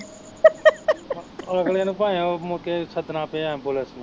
ਅਗਲੇ ਨੂੰ ਭਾਂਵੇ ਉਹ ਮੁੜ ਕੇ ਸੱਦਣਾ ਪਿਆ ambulance ਨੂੰ